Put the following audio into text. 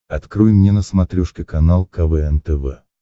открой мне на смотрешке канал квн тв